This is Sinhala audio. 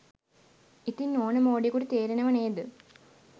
ඉතින් ඕන මෝඩයෙකුට තේරෙනව නේද